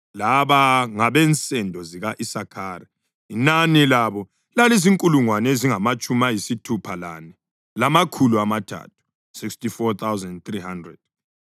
Laba ngabensendo zika-Isakhari; inani labo lalizinkulungwane ezingamatshumi ayisithupha lane, lamakhulu amathathu (64,300).